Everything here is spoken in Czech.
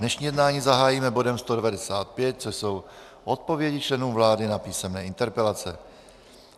Dnešní jednání zahájíme bodem 195, což jsou odpovědi členů vlády na písemné interpelace.